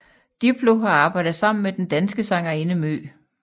Diplo har arbejdet sammen med den danske sangerinde MØ